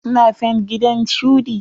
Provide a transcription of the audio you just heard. Suna fent ginan shuɗi.